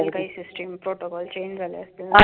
काही काही system change झाल्या असतील.